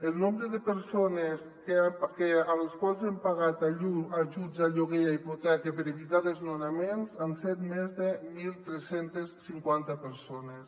el nombre de persones a les quals hem pagat ajuts a lloguer i a hipoteca per evitar desnonaments han sigut més de tretze cinquanta persones